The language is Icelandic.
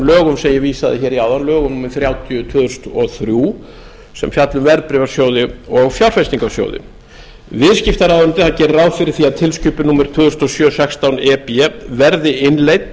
lögum sem ég vísaði hér í áðan lögum númer þrjátíu tvö þúsund og þrjú sem fjalla um verðbréfasjóði og fjárfestingarsjóði viðskiptaráðuneytið gerir ráð fyrir því að tilskipun númer tvö þúsund og sjö sextán e b verði innleidd